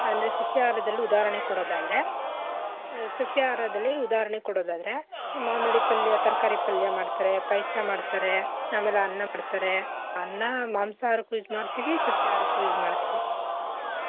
ಅಂದ್ರೆ ಸಸ್ಯಾಹಾರದಲ್ ಉದಾಹರಣೆ ಕೊಡೋದಾದ್ರೆ ಸಸ್ಯಾಹಾರದಲ್ಲಿ ಉದಾಹರಣೆ ಕೊಡೋದಾದ್ರೆ ಮಾಮೂಲಿ ಪಲ್ಯ ತರ್ಕಾರಿ ಪಲ್ಯ ಮಾಡ್ತಾರೆ, ಪಾಯಸ ಮಾಡ್ತಾರೆ, ಅಮೇಲೆ ಅನ್ನ ಮಾಡ್ತಾರೆ, ಅನ್ನ ಮಾಂಸಾಹಾರಕ್ಕೂ use ಮಾಡ್ತಿವಿ ಸಸ್ಯಾಹಾರಕ್ಕೂ use ಮಾಡ್ತಿವಿ.